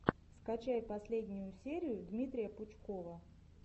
скачай последнюю серию дмитрия пучкова